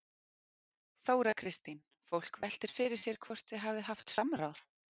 Þóra Kristín: Fólk veltir fyrir sér hvort þið hafið haft samráð?